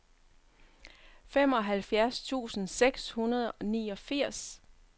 femoghalvfjerds tusind seks hundrede og niogfirs